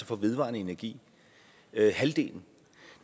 fra vedvarende energi halvdelen